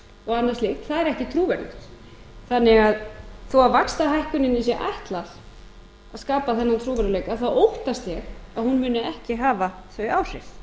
og annað slíkt það er ekki trúverðugt þó vaxtahækkuninni sé ætlað að skapa þennan trúverðugleika þá óttast ég að hún muni ekki hafa þau áhrif